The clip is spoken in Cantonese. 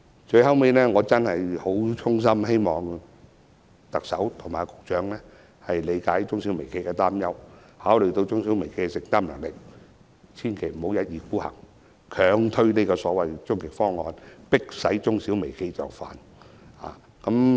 最後，我衷心希望特首和局長理解中小微企的擔憂，考慮中小微企的承擔能力，千萬不要一意孤行，強推終極方案，迫使中小微企就範。